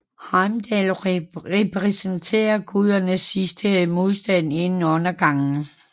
Heimdall repræsenterer gudernes sidste modstand inden undergangen